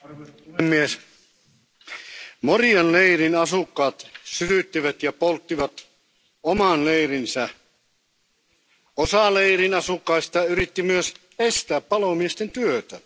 Arvoisa puhemies, Morian leirin asukkaat sytyttivät ja polttivat oman leirinsä. Osa leirin asukkaista yritti myös estää palomiesten työtä.